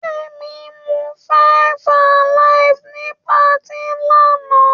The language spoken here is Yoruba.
Kemi mu five alive ní patí lánàá.